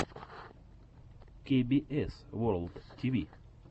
кей би эс ворлд ти ви